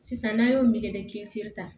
Sisan n'a y'o me kisi ta